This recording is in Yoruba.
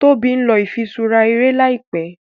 Tóbi nlọ ifiṣura eré láìpé.